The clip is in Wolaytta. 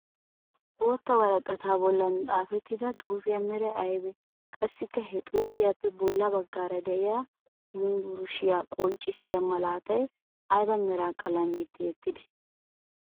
Bootta woraqataa bollan xaafettida xuufiya meray ayibee? Qassikka ha xuufiyappe bolla baggaara de'iya yumburshiya qonccissiya malaatay ayiba Mera qalamiyan tiyettidee?